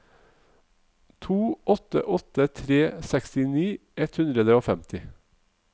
to åtte åtte tre sekstini ett hundre og femti